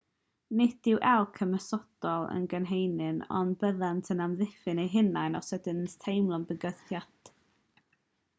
nid yw elc yn ymosodol yn gynhenid ond byddant yn amddiffyn eu hunain os ydynt yn teimlo bygythiad